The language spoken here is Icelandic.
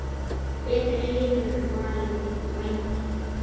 Betri heimur var í vændum.